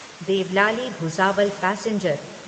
Deolali Bhusawal passenger